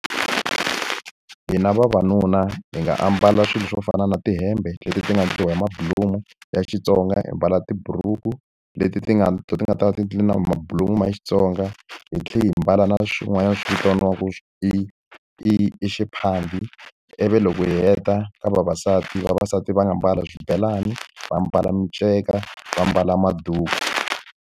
Hina vavanuna hi nga ambala swilo swo fana na tihembe leti ti nga endliwa hi mabulomu ya Xitsonga, hi mbala tiburuku leti ti nga ti nga ta endliwa na mabulomu ma ya Xitsonga, hi tlhela hi mbala na swin'wanyana swi vitaniwaka ku i i . Ivi loko hi heta ka vavasati, vavasati va nga ambala swibelani, va ambala miceka, va ambala maduku.